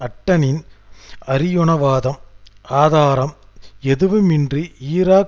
ஹட்டனின் அறியுணவாதம் ஆதாரம் எதுவும் இன்றி ஈராக்